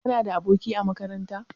Kana da aboki a makaranta?